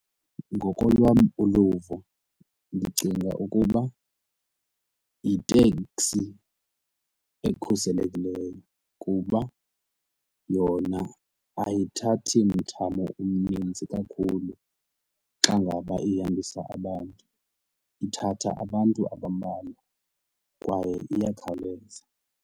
Ngokolwam uluvo ndicinga ukuba yiteksi ekhuselekileyo kuba yona ayithathi mthamo omninzi kakhulu xa ngaba ihambisa abantu, ithatha abantu abambalwa kwaye iyakhawuleza.